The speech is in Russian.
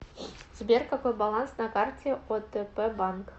сбер какой баланс на карте отп банк